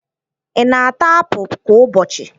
Ị na-ata apụ kwa ụbọchị?